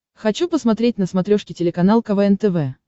хочу посмотреть на смотрешке телеканал квн тв